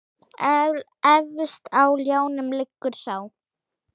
Efst á ljánum liggur sá.